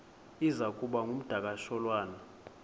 iza kuba ngumdakasholwana